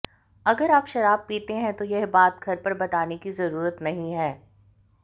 अगर आप शराब पीते हैं तो यह बात घर पर बताने की जरुरत नहीं है